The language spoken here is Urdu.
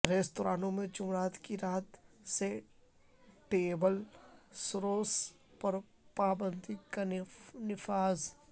ریستورانوں میں جمعرات کی رات سے ٹیبل سروس پر پابندی کا نفاذ